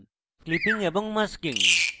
clipping এবং masking